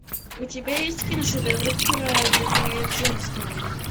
у тебя есть киношедевр праведные джемстоуны